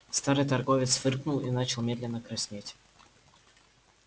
старый торговец фыркнул и начал медленно краснеть